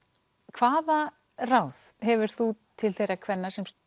hvaða ráð hefur þú til þeirra kvenna sem